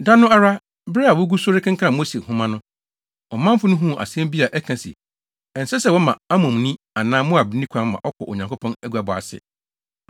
Da no ara, bere a wogu so rekenkan Mose Nhoma no, ɔmanfo no huu asɛm bi a ɛka se, ɛnsɛ sɛ wɔma Amonni anaa Moabni kwan ma ɔkɔ Onyankopɔn aguabɔ ase.